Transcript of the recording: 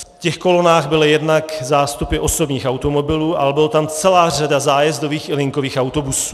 V těch kolonách byly jednak zástupy osobních automobilů, ale byla tam celá řada zájezdových i linkových autobusů.